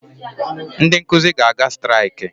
Ndị nkụzi ga-aga striakị